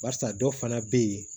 Barisa dɔw fana be ye